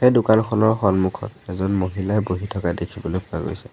এই দোকানখনৰ সন্মুখত এজন মহিলায়ে বহি থকা দেখিবলৈ পোৱা গৈছে।